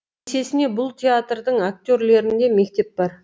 есесіне бұл театрдың актерлерінде мектеп бар